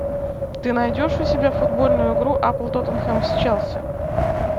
ты найдешь у себя футбольную игру апл тоттенхэм с челси